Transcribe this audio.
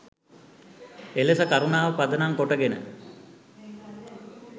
එලෙස කරුණාව පදනම් කොටගෙන